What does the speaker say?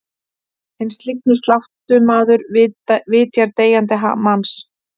Hinn slyngi sláttumaður vitjar deyjandi manns.